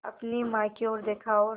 अपनी माँ की ओर देखा और